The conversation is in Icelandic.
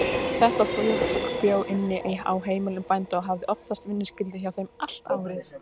Þetta fólk bjó inni á heimilum bænda og hafði oftast vinnuskyldu hjá þeim allt árið.